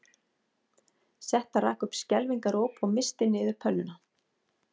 Setta rak upp skelfingaróp og missti niður pönnuna